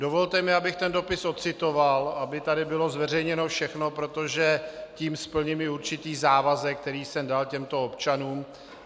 Dovolte mi, abych ten dopis odcitoval, aby tady bylo zveřejněno všechno, protože tím splním i určitý závazek, který jsem dal těmto občanům.